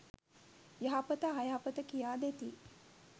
යහපත අයහපත කියා දෙති.